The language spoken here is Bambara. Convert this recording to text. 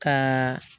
Ka